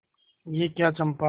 यह क्या चंपा